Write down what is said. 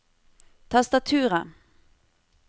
tastaturet